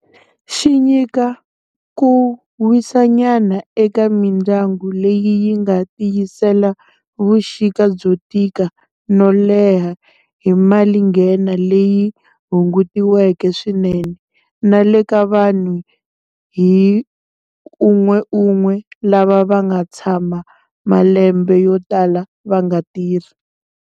Xi nyika ku wisanyana eka mindyangu leyi yi nga tiyisela vuxika byo tika no leha hi malinghena leyi hungutiweke swinene, na le ka vanhu hi un'weun'we lava va nga tshama malembe yo tala va nga tirhi.